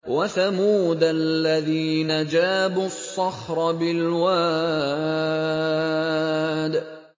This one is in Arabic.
وَثَمُودَ الَّذِينَ جَابُوا الصَّخْرَ بِالْوَادِ